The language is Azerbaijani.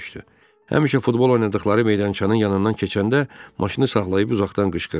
Həmişə futbol oynadıqları meydançanın yanından keçəndə maşını saxlayıb uzaqdan qışqırdı.